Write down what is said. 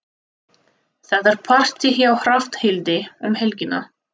Það er partí hjá Hrafnhildi um helgina.